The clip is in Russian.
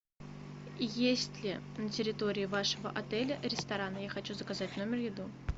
есть ли на территории вашего отеля ресторан я хочу заказать в номер еду